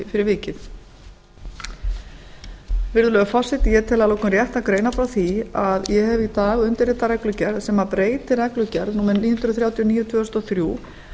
fyrir vikið virðulegi forseti ég tel að lokum rétt að greina frá því að ég hef í dag undirritað reglugerð sem breytir reglugerð númer níu hundruð þrjátíu og níu tvö þúsund og þrjú